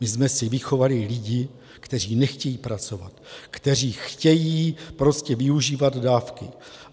My jsme si vychovali lidi, kteří nechtějí pracovat, kteří chtějí prostě využívat dávky.